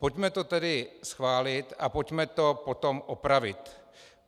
Pojďme to tedy schválit a pojďme to potom opravit.